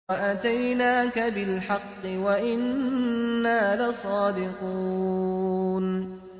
وَأَتَيْنَاكَ بِالْحَقِّ وَإِنَّا لَصَادِقُونَ